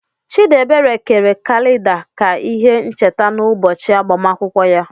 Chidiebere kere kalida ka ihe ncheta n'ụbọchị agbamakwụkwọ ya.